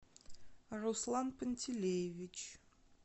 руслан пантелеевич